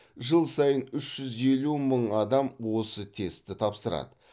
жыл сайын үш жүз елу мың адам осы тестті тапсырады